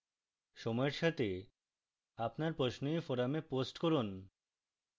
সময়ের সাথে আপনার প্রশ্ন এই forum post করুন